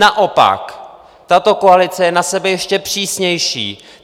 Naopak, tato koalice je na sebe ještě přísnější!